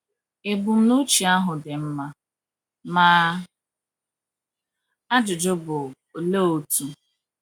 Ebumnuche ahụ dị mma, ma ajụjụ bụ, Olee otu?